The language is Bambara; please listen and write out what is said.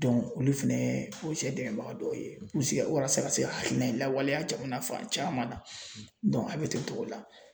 olu fɛnɛ dɛmɛbaga dɔw ye u bɛ se ka walasa ka se ka hakilina in lawaleya jamana fan caman na a bɛ ten cogo la.